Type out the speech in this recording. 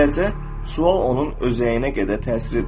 Beləcə, sual onun özəyinə qədər təsir edəcək.